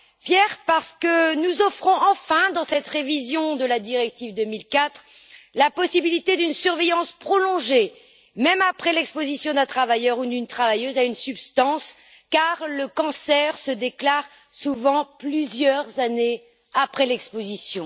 Fiers parce que nous offrons, enfin, dans cette révision de la directive 2004, la possibilité d'une surveillance prolongée, même après l'exposition d'un travailleur ou d'une travailleuse à une substance, car le cancer se déclare souvent plusieurs années après l'exposition.